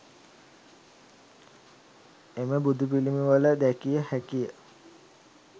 එම බුදුපිළිමවල දැකිය හැකිය.